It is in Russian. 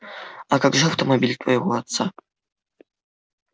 а как же автомобиль твоего отца